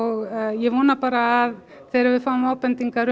ég vona bara að þegar við fáum ábendingar